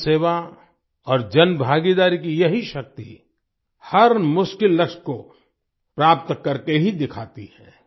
जनसेवा और जनभागीदारी की यही शक्ति हर मुश्किल लक्ष्य को प्राप्त करके ही दिखाती है